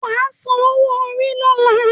Wà á san owó-orí lọ́la